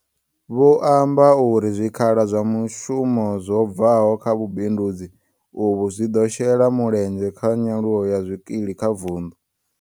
Vho amba uri zwikhala zwa mushumo zwo bvaho kha vhubindudzi uvhu zwi ḓo shela mulenzhe kha nyaluwo ya zwikili kha vundu.